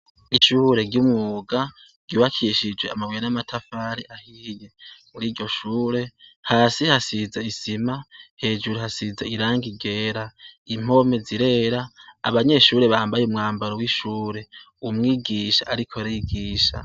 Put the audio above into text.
Ishure ry'umwuga ryubakishije amabuye n'amatafari ahiye. Kuri iryo shure hasi hasize isima, hejuru hasize irangi ryera impome zirera, abanyeshure bambaye umwambaro w'ishure. Umwigisha ariko arigisha.